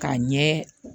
K'a ɲɛ